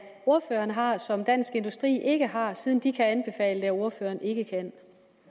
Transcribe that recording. ordføreren har og som dansk industri ikke har siden de kan anbefale det og ordføreren ikke kan